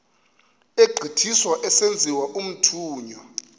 egqithiswa esenziwa umthunywa